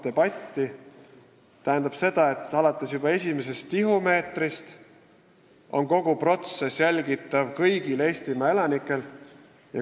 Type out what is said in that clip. See tähendab seda, et alates esimesest tihumeetrist on kogu protsess jälgitav, seda saavad jälgida kõik Eestimaa elanikud.